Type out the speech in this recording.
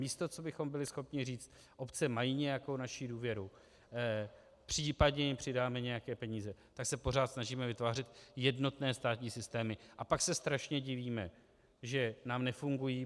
Místo co bychom byli schopni říct obce mají nějakou naši důvěru, případně jim přidáme nějaké peníze, tak se pořád snažíme vytvářet jednotné státní systémy, a pak se strašně divíme, že nám nefungují.